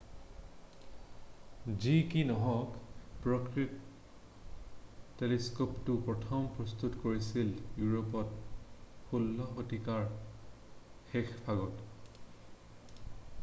যি কি নহওক প্ৰকৃত টেলিস্ক'পটো প্ৰথম প্ৰস্তুত কৰিছিল ইউৰোপত 16 শতিকাৰ শেষভাগত